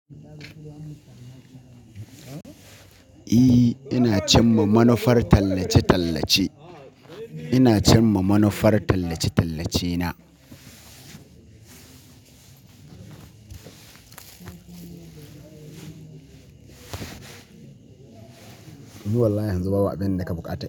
Ina cinma manufar tallace tallace ina cin ma manufar tallace-tallace na. Ni wallahi yanzu babu abin nake buƙata.